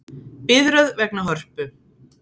Biðröð vegna Hörpu